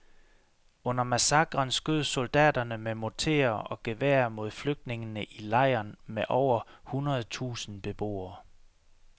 Under massakren skød soldaterne med morterer og geværer mod flygtningene i lejren med over hundred tusind beboere.